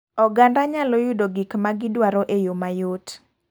Oganda nyalo yudo gik ma gidwaro e yo mayot.